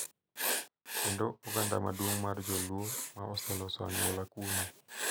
Kendo oganda maduong’ mar Joluo ma oseloso anyuola kuno.